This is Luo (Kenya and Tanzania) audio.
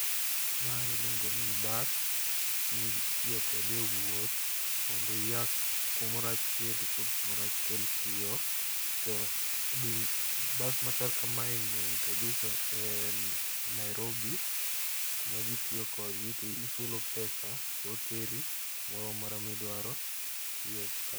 Mae iluongo ni bas, ti itiyokode e wuoth mondo iya kumorachiel tichop kumorachiel piyo. To gin bas machal kamae ng'eny kabisa en Nairobi, kumajitiye kodgi to ichulo pesa toteri kumoramora midwaro piyo ka.